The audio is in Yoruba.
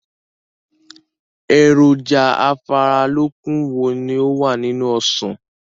Èròjà afáralókun wo ni ó wà nínú Ọsàn?